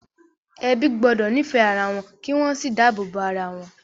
Ebi gbọ́dọ̀ nífẹ̀ẹ́ ara wọn kí wọ́n sì dáàbò bo ara wọn.